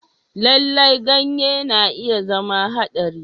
Lallai, ganye na iya zama haɗari.